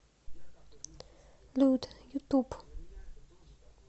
лут ютуб